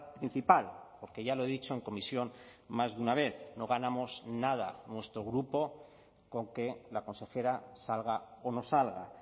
principal porque ya lo he dicho en comisión más de una vez no ganamos nada nuestro grupo con que la consejera salga o no salga